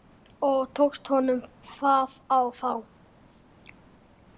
Og tókst honum það þá?